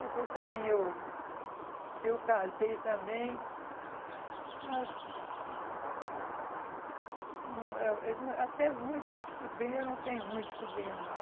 Depois também eu eu casei também, mas hum não eh não eh até muitos sobrinhos, eu não tenho muitos sobrinhos não.